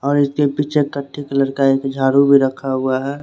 और उसके पीछे टटी कलर का एक झाड़ू भी रखा हुआ है।